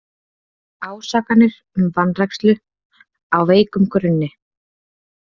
Ásakanir um vanrækslu á veikum grunni